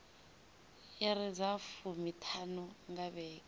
iri dza fumiṱhanu nga vhege